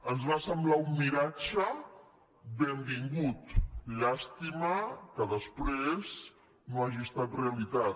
ens va semblar un miratge benvingut llàstima que després no hagi estat realitat